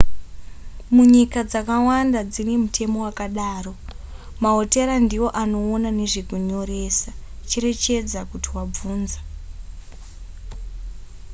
munyika dzakawanda dzine mutemo wakadaro mahotera ndiwo anoona nezvekunyoresa cherechedza kuti wavhunza